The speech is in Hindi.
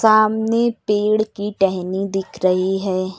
सामने पेड़ की टहनी दिख रही है।